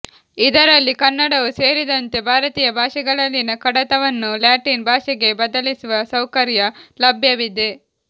ಇದರಲ್ಲಿ ಕನ್ನಡವೂ ಸೇರಿದಂತೆ ಭಾರತೀಯ ಭಾಷೆಗಳಲ್ಲಿನ ಕಡತವನ್ನು ಲ್ಯಾಟಿನ್ ಭಾಷೆಗೆ ಬದಲಿಸುವ ಸೌಕರ್ಯ ಲಭ್ಯವಿದೆ